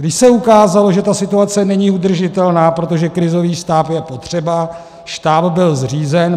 Když se ukázalo, že ta situace není udržitelná, protože krizový štáb je potřeba, štáb byl zřízen.